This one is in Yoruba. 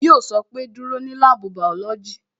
Yo sọ pé "Dúró ní láàbù bàọ́lọ́jì"